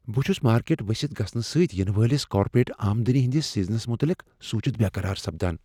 بہٕ چھس مارکیٹ ؤستھ گژھنہٕ سۭتۍ ینہٕ وٲلس کارپوریٹ آمدنی ہنٛدس سیزنس متعلق سونچتھ بیقرار سپدان۔